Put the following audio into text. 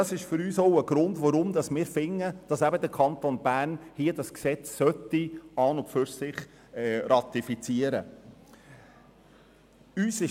Dies ist für uns ein Grund, weshalb wir der Meinung sind, dass der Kanton Bern das vorliegende Gesetz beschliessen sollte.